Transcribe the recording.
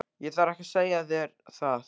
Ég þarf ekki að segja þér það.